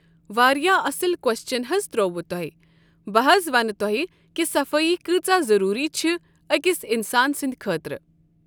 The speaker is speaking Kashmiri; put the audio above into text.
واریاہ اصٕل کوسچن حظ تروٚووُ تُہۍ بہٕ حظ ونہٕ تۄہہِ کہِ صفٲیی کۭژاہ ضروری چھِ أکِس انسان سٕنٛدۍ خٲطرٕ۔